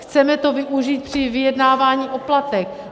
Chceme to využít při vyjednávání o platech.